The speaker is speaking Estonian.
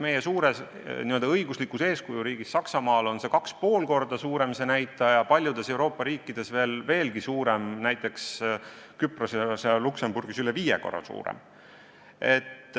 Meie suures n-ö õiguslikus eeskujuriigis Saksamaal on see näitaja 2,5 korda suurem, paljudes Euroopa riikides veelgi suurem, näiteks Küprosel ja Luksemburgis üle viie korra suurem.